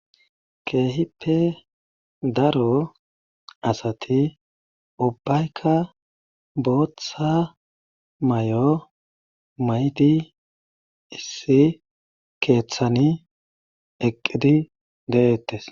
Keehippe daro asati ubbaykka booththa may'o maydi issi keeththani eqqidi de'eettes.